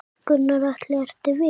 Gunnar Atli: Ertu viss?